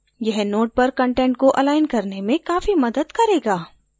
यह node पर content को अलाइन करने में काफी मदद करेगा